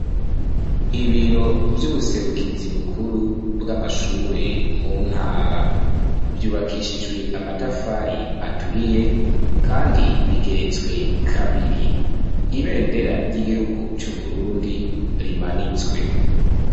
Ibiro vy'ubuserukizi bukuru bwa mashuri mu ntara vyubakishijwe amatafari aturiye kandi birageretswe kabiri ,Ibendera ry'igihugu cu Burundi rimanitswe.